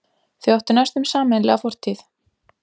Þau áttu næstum sameiginlega fortíð.